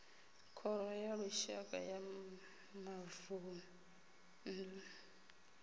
khoro ya lushaka ya mavunḓu